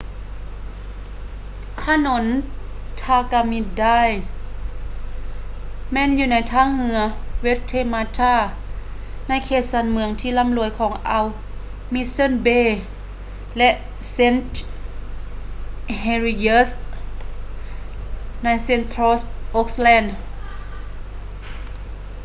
ຖະໜົນ ທາກາມິ ໄດຼ tamaki drive ແມ່ນຢູ່ໃນທ່າເຮືອ ເວັດເທມາທາ waitemata ໃນເຂດຊານເມືອງທີ່ລ່ຳລວຍຂອງອ່າວ ມິດເຊີ່ນ ເບ mission bay ແລະ ເຊນທ໌ ເຮລິເຢິສ໌ st heliers ໃນ ເຊັນທຼອລ໌ ໂອ໊ກແລນ central auckland